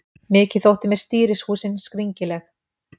Mikið þótti mér stýrishúsin skringileg.